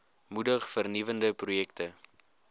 moedig vernuwende projekte